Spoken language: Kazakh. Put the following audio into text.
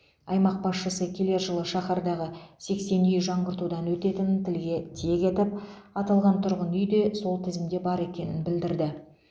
аймақ басшысы келер жылы шаһардағы сексен үй жаңғыртудан өтетінін тілге тиек етіп аталған тұрғын үй де сол тізімде бар екенін білдірді